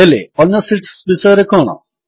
ହେଲେ ଅନ୍ୟ ଶୀଟ୍ସ ବିଷୟରେ କଣ